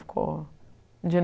Ficou